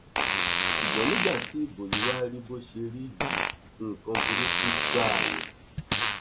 ṣùgbọn nígbà tí ibo yí wàá rí bó ṣe rí yìí nǹkan burúkú gbáà ni